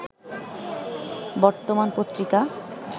বর্তমান পত্রিকা